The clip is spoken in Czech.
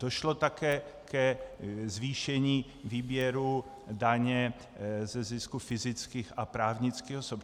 Došlo také ke zvýšení výběru daně ze zisku fyzických a právnických osob.